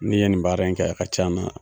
Ne ye nin baara in kɛ a ka ca na